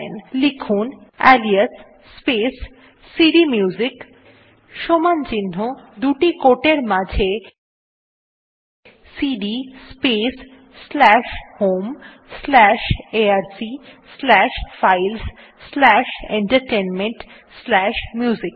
লিখুন alias space CD music সমান চিহ্ন দুটি quote এর মাঝে CD space slash home slash ARC slash files slash entertainment slash music